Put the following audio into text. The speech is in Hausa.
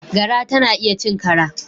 Gara tana iya cin kara.